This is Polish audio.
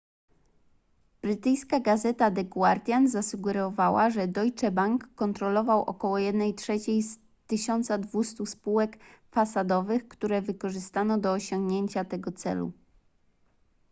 brytyjska gazeta the guardian zasugerowała że deutsche bank kontrolował około jednej trzeciej z 1200 spółek fasadowych które wykorzystano do osiągnięcia tego celu